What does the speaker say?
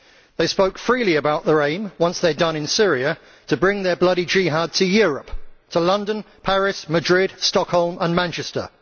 They spoke freely about their aim, once they were done in Syria, to bring their bloody jihad to Europe to London, Paris, Madrid, Stockholm and Manchester.